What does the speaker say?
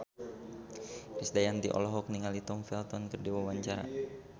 Krisdayanti olohok ningali Tom Felton keur diwawancara